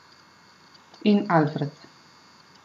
In Alfred.